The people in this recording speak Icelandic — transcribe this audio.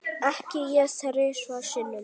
Ekki ég þrisvar sinnum.